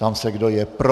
Ptám se, kdo je pro.